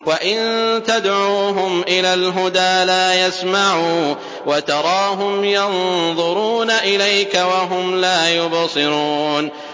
وَإِن تَدْعُوهُمْ إِلَى الْهُدَىٰ لَا يَسْمَعُوا ۖ وَتَرَاهُمْ يَنظُرُونَ إِلَيْكَ وَهُمْ لَا يُبْصِرُونَ